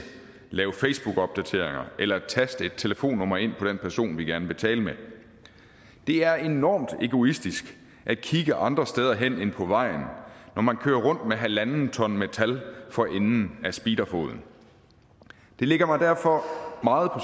lave facebookopdateringer eller taste et telefonnummer ind på den person vi gerne vil tale med det er enormt egoistisk at kigge andre steder end på vejen når man kører rundt med halvandet ton metal for enden af speederfoden det ligger mig derfor meget på